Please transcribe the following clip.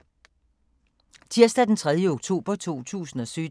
Tirsdag d. 3. oktober 2017